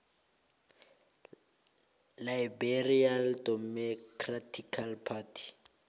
liberal democratic party